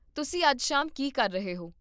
ਤੁਸੀਂ ਅੱਜ ਸ਼ਾਮ ਕੀ ਕਰ ਰਹੇ ਹੋ?